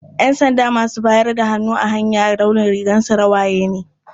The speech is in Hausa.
Ƴansanda masu bayar da hannu a hanya launin rigarsu rawaya ne.